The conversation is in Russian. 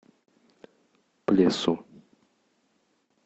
плесу